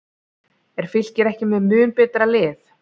Er Fylkir ekki með mun betra lið?